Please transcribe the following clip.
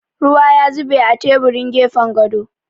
Ruwa ya zube a teburin gefen gado.